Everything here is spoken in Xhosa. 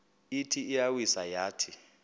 ithi iyawisa yathi